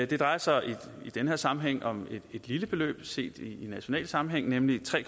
det drejer sig i den her sammenhæng om et lille beløb set i national sammenhæng nemlig tre